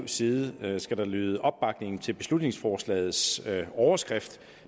side skal der lyde opbakning til beslutningsforslagets overskrift